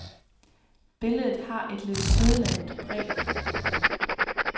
Billedet har et lidt sødladent præg.